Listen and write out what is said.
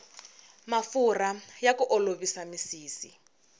mafurha ya ku olovisa misisi